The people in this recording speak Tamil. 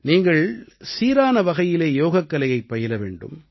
நீங்கள் சீரான வகையிலே யோகக்கலையைப் பயில வேண்டும்